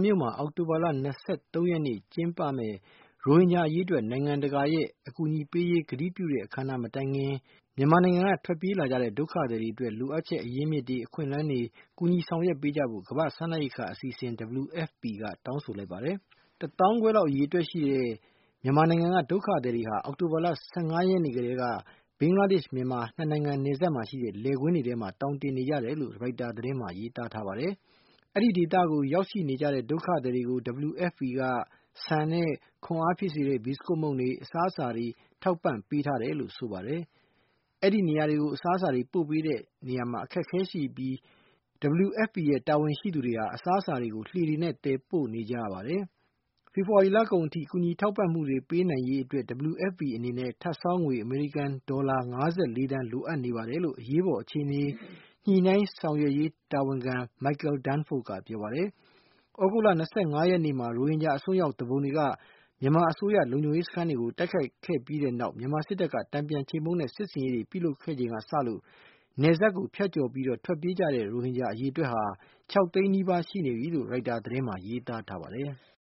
မြို့မှာ အောက်တိုဘာလ ၂၃ ရက်နေ့ ကျင်းပတဲ့ ရိုဟင်ဂျာအရေးအတွက် နိုင်ငံတကာရဲ့ အကူညီပေးအပ်ရေး ကတိပြုတဲ့ အခမ်းနားမတိုင်ခင် မြန်မာနိုင်ငံက ထွက်ပြေးလာကြတဲ့ ဒုက္ခသည်တွေအတွက် လိုအပ်ချက် အရင်းမြစ်တွေ အခွင့်အလမ်းတွေ ကူညီဆောင်ရွက်ပေးကြဖို့ ကမ္ဘာ့စားနပ်ရိက္ခာ အစီအစဉ် WFP က တောင်းဆိုလိုက်ပါတယ်။ တသောင်းခွဲခန့် အရေအတွက်ရှိတဲ့ မြန်မာနိုင်ငံက ဒုက္ခသည်တွေဟာ အောက်တိုဘာလ ၁၅ ရက်နေ့ ကတည်းက ဘင်္ဂလားဒေ့ရှ်-မြန်မာ ၂ နိုင်ငံနယ်စပ်မှာ ရှိတဲ့ လယ်ကွင်းတွေထဲမှာ သောင်တင်နေကြတယ်လို့ ရိုက်တာသတင်းမှာ ရေးသားထားပါတယ်။ ဒီဒေသကို ရောက်ရှိနေကြတဲ့ ဒုက္ခသည်တွေကို WFP က ဆန်၊ ခွန်အားဖြစ်စေတဲ့ ဘီစကွတ်မုန့်နဲ့ အစားအစာတွေ ထောက်ပံ့ ပေးထားတယ်လို့ ဆိုပါတယ်။ အဲဒီနေရာတွေကို အစားအစာတွေ ပို့ပေးဖို့ အတွက် အခက်အခဲရှိပြီး WFP တာဝန်ရှိသူတွေဟာ အစားအစာတွေကို လှေတွေနဲ့ သယ်ပို့နေကြရပါတယ်။ ဖေဖေါ်ဝါရီလကုန်အထိ ကူညီထောက်ပံ့မှုတွေ ပေးနိုင်ရေးအတွက် WFP အနေနဲ့ ထပ်ဆောင်းငွေ အမေရိကန်ဒေါ်လာ ၅၄ သန်း လိုအပ်နေပါတယ်လို့ အရေးပေါ်အခြေအနေ ညှိနှိုင်းဆောင်ရွက်ရေးတာဝန်ခံ မိုက်ကယ် ဒန်းဖို့ ကပြောပါတယ်။ သြဂုတ်လ ၂၅ ရက်နေ့မှာ ရိုဟင်ဂျာသူပုန်တွေက မြန်မာအစိုးရလုံခြုံရေးစခန်းတွေကို တိုက်ခိုက်ခဲ့ပြီးတဲ့နောက် မြန်မာစစ်တပ်က တန်ပြန်ချေမှုန်းတဲ့ စစ်ဆင်ရေးတွေပြုလုပ်ခဲ့ချိန်ကစလို့ နယ်စပ်ဖြတ်ကျော်ပြီးထွက်ပြေးကြတဲ့ ရိုဟင်ဂျာ အရေတွက်ဟာ ၆ သိန်းနီးပါး ရှိနေပြီလို့ ရိုက်တာသတင်းမှာ ရေးသားထားပါတယ်။